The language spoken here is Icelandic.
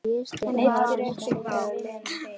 Hann ypptir öxlum þegar vinurinn spyr.